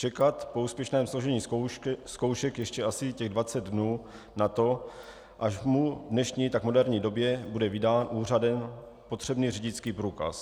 Čekat po úspěšném složení zkoušky ještě asi těch 20 dnů na to, až mu v dnešní tak moderní době bude vydán úřadem potřebný řidičský průkaz.